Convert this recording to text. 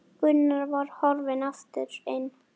Gunnar var horfinn aftur inn.